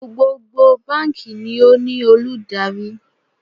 Gbogbo báǹkì ni ó ní olùdarí